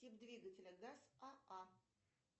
тип двигателя газ аа